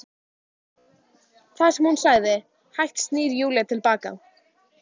Það sem hún sagði- Hægt snýr Júlía til baka.